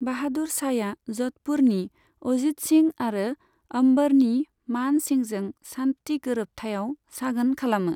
बाहादुर शाहया ज'धपुरनि अजीत सिंह आरो अंबरनि मान सिंहजों शान्ति गोरोबथायाव सागोन खालामो।